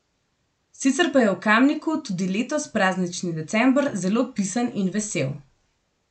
Sicer pa je v Kamniku tudi letos praznični december zelo pisan in vesel.